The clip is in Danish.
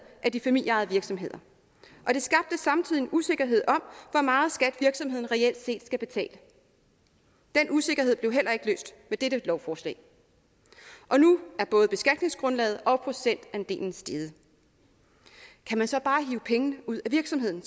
af de familieejede virksomheder og det skabte samtidig en usikkerhed om hvor meget skat virksomheden reelt set skal betale den usikkerhed blev heller ikke løst med dette lovforslag og nu er både beskatningsgrundlaget og procentandelen steget kan man så bare hive pengene ud af virksomheden